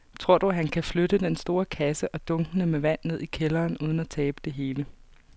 Tror du, at han kan flytte den store kasse og dunkene med vand ned i kælderen uden at tabe det hele?